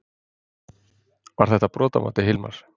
Var þetta brot að mati Hilmars?